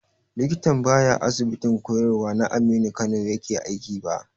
Likitan ba ya Asibitin koyarwa na Aminu Kano yake aiki ba.